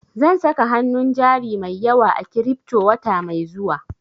Zan saka hanun jari mai yawa a kiripto wata mai zuwa